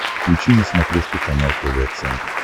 включи на смотрешке канал тв центр